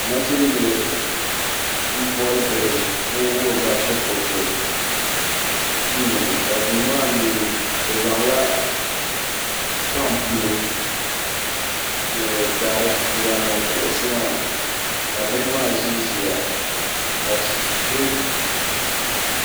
Nachimbila m-boli bihi n-wuhiri ba shikuruti duu ni ka duu maa mi bɛ zaŋla bampulo ni dari n-zaŋ niŋ kuɣusi maa ka bihi maa ʒinʒiya